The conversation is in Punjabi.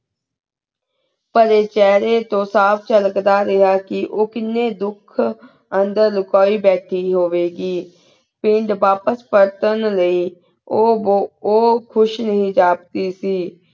ਪੇਰੀ ਚਾਹ੍ਰੀ ਤੂੰ ਸਾਫ਼ ਚਾਲਕ ਦਾ ਰਿਹਾ ਕੀ ਉਕਿੰਯਨ ਧੁਖ ਅੰਦਰ ਲੁਕਾਈ ਭਠੀ ਹੁਵ੍ਯ ਘੀ ਪਿਸ ਵਾਪੇਸ ਪਲਟੇੰ ਲੈ ਊ ਬੁਹਤ ਹੀ ਲਘ ਦੀ ਸੀ